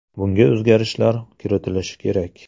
Bunga o‘zgartishlar kiritilishi kerak.